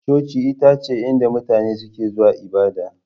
Coci ita ce inda mutane suke zuwa yin ibada.